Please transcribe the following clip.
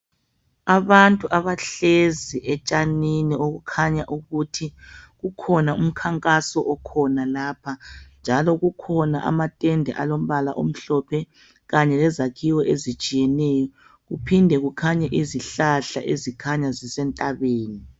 Abantu abahlezi etshanini okukhanya ukuthi kukhona umkhankaso okhona lapha, njalo kukhona amatende alombala omhlophe kanye lezakhiwo ezitshiyeneyo kuphinde kukhanye izihlahla ezikhanya zisentabeni.